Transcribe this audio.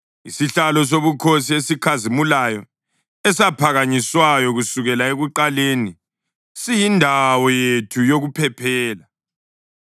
Isihlalo sobukhosi, esikhazimulayo esaphakanyiswayo kusukela ekuqaleni, siyindawo yethu yokuphephela.